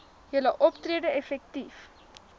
julle optrede effektief